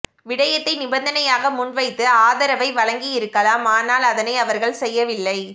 விடயத்தை நிபந்தனையாக முன் வைத்து ஆதரவை வழங்கி இருக்கலாம் ஆனால் அதனை அவர்கள் செய்யவில்லை